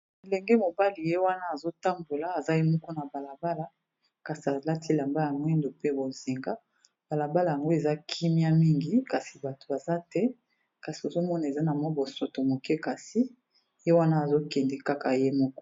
Elenge mobali ye wana azotambola aza ye moko na balabala kasi alati elamba ya mwindo pe bozenga balabala yango eza kimia mingi kasi bato baza te kasi ozomona eza na mwa bosoto moke kasi ye wana azokende kaka ye moko.